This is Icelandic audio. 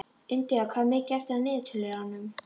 India, hvað er mikið eftir af niðurteljaranum?